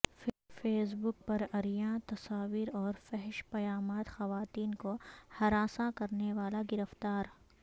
face بک پر عریاں تصاویر اور فحش پیامات خواتین کو ہراساں کرنے والا گرفتار